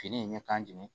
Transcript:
Fini in ɲɛ ka ɲɛn